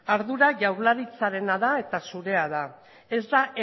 ardura jaurlaritzarena da eta zurea da ez da